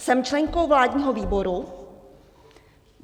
Jsem členkou vládního výboru.